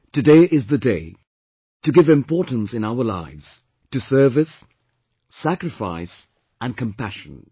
Today is the day to give importance in our lives to service, sacrifice and compassion